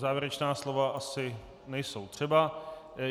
Závěrečná slova asi nejsou třeba.